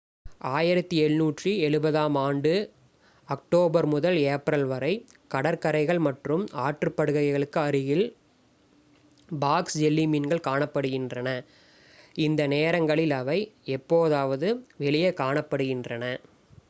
1770 ஆம் ஆண்டு அக்டோபர் முதல் ஏப்ரல் வரை கடற்கரைகள் மற்றும் ஆற்றுப் படுகைகளுக்கு அருகில் பாக்ஸ் ஜெல்லி மீன்கள் காணப்படுகின்றன இந்த நேரங்களில் அவை எப்போதாவது வெளியே காணப்படுகின்றன